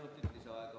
Kolm minutit lisaaega.